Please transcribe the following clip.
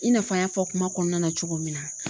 I n'a fɔ an y'a fɔ kuma kɔnɔna na cogo min na.